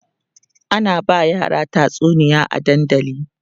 ana ba yara tatsuniya a dandali